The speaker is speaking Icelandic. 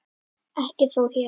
Ekki þó hér.